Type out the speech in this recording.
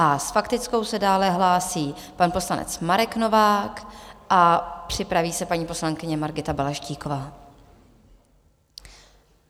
A s faktickou se dále hlásí pan poslanec Marek Novák a připraví se paní poslankyně Margita Balaštíková.